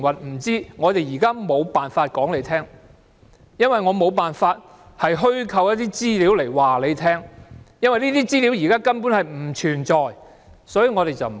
不知道。現時政府無法相告，因為沒有辦法虛構一些資料來告訴你，因為這些資料現在根本不存在，所以無法相告。